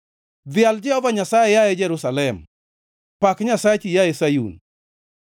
Dhial Jehova Nyasaye, yaye Jerusalem; pak Nyasachi, yaye Sayun.